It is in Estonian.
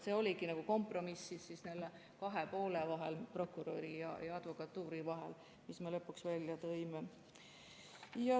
See oligi kompromiss kahe poole vahel, prokuröri ja advokatuuri vahel, mille me lõpuks välja tõime.